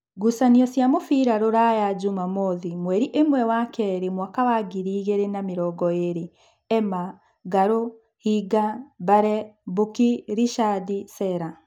Ngucanio cia mũbira Ruraya Jumamothi mweri ĩmwe wa keeri mwaka wa ngiri igĩrĩ na namĩrongoĩrĩ: Ema, Ng'arũ, Hinga, Mbare, Bũki, Richard, Selah